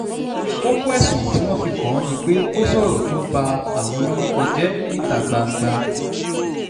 kókó ẹ̀sùn tí wọ́n fi kàn án ni pé ó sọ̀rọ̀ tó ba àwọn lórúkọ jẹ́ níta gbangba